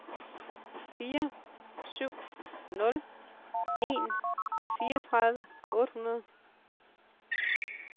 fire syv nul en fireogtredive otte hundrede